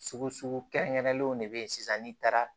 Sugu kɛrɛnkɛrɛnnenw de bɛ ye sisan n'i taara